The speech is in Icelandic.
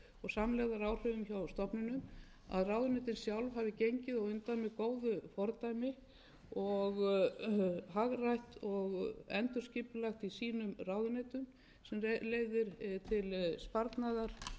samlegðaráhrifum hjá stofnunum að ráðuneytin sjálf hafi gengið á undan með góðu fordæmi og hagrætt og endurskipulagt í sínum ráðuneytum sem leiðir til sparnaðar